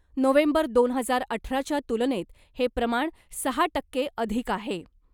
November दोन हजार अठराच्या तुलनेत हे प्रमाण सहा टक्के अधिक आहे .